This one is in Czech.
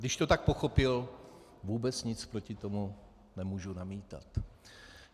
Když to tak pochopil, vůbec nic proti tomu nemohu namítat.